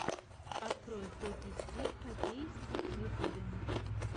открой хоки стигг хоккей стигг в ютюбе